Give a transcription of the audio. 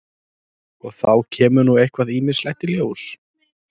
Og þá kemur nú eitthvað ýmislegt í ljós?